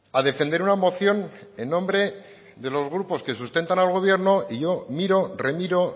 a defender una moción en nombre de los grupos que sustentan al gobierno y yo miro remiro